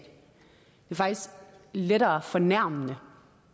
faktisk lettere fornærmende